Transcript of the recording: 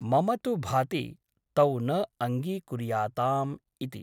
मम तु भाति तौ न अङ्गीकुर्याताम् इति ।